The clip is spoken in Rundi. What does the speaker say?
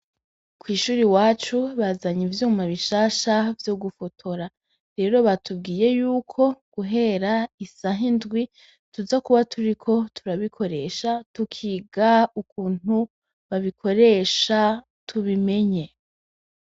Kw’ishure iwacu bazanye ivyuma bishasha vyo gufotora, rero batubwiye yuko guhera isaha indwi tuza kuba turiko turabikoresha tukiga ukuntu babikoresha tubimenye.